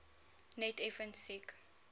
net effens siek